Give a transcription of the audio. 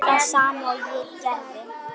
Það sama og ég gerði.